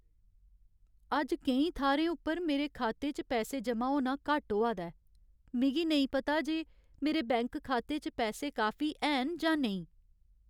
अज्ज केईं थाह्रें उप्पर मेरे खाते च पैसे जमा होना घट्ट होआ दा ऐ ।मिगी नेईं पता जे मेरे बैंक खाते च पैसे काफी हैन जां नेईं।